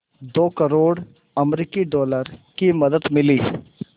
दो करोड़ अमरिकी डॉलर की मदद मिली